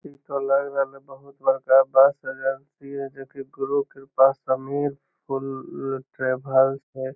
इ त लग रहले बहुत बड़का बस एजेंसी है जे कि गुरु कृपा समीर ट्रेवल्स है।